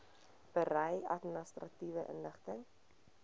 berei administratiewe inligting